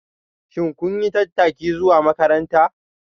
Shin kun yi tattaki zuwa makaranta?